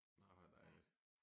Nej hvor dejligt